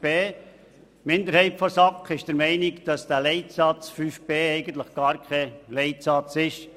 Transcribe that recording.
Die Minderheit der SAK ist der Meinung, dass der Leitsatz 5b eigentlich kein Leitsatz ist.